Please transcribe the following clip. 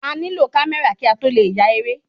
A ní lò kamẹra ki a tó le ya eré